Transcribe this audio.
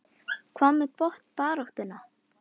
Hvað með botnbaráttuna?